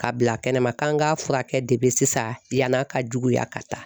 K'a bila kɛnɛ ma k'an ka furakɛ de sisan yanni a ka juguya ka taa